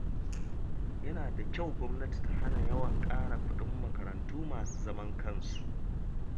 Yana da kyau gwamnati ta hana yawan ƙara kuɗin makarantu masu zaman kansu.